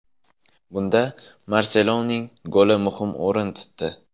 Bunda Marseloning goli muhim o‘rin tutdi.